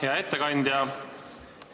Hea ettekandja!